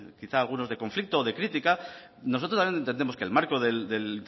quizá algunos de conflicto o de crítica nosotros también entendemos que el marco del